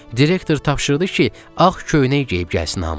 Direktor tapşırdı ki, ağ köynək geyib gəlsin hamı.